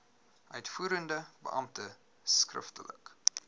uitvoerende beampte skriftelik